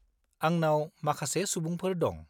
आंनाव माखासे सुबुंफोर दं।